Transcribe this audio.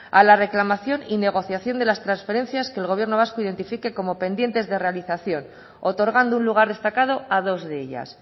a la reclamación y negociación de las transferencias que el gobierno vasco identifique como pendientes de realización otorgando un lugar destacado a dos de ellas